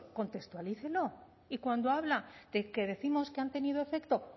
contextualícelo y cuando habla de que décimos que han tenido efecto